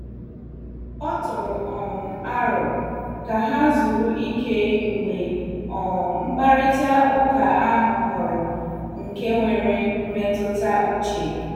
O tụrụ um aro ka ha zuru ike mgbe um mkparịta ụka ahụ ghọrọ nke nwere mmetụta uche.